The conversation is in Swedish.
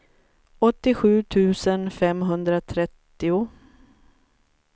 åttiosju tusen femhundratrettio